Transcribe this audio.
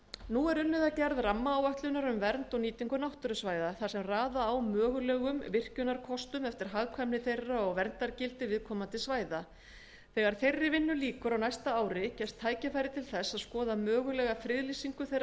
nú er unnið að gerð rammaáætlunar um vernd og nýtingu náttúrusvæða þar sem raða á mögulegum virkjunarkostum eftir hagkvæmni þeirra og verndargildi viðkomandi svæða þegar þeirri vinnu lýkur á næsta ári gefst tækifæri til þess að skoða mögulega friðlýsingu þeirra